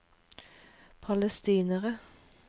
palestinere